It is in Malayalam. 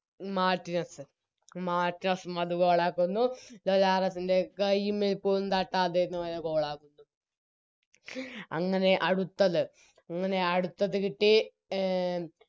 മാർട്ടിനെസ്സ് മാർട്ടിനസ്സും അത് Goal ആക്കുന്നു ലോലാറസ്സിൻറെ കയിമേൽക്കൊന്നും തട്ടാതെ നേരെ Goal ആക്കുന്നു അങ്ങനെ അടുത്ത അങ്ങനെ അടുത്തത് കിട്ടി എ